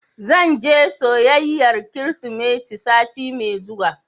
Zan je soyayyar Kirsimeti sati mai zuwa.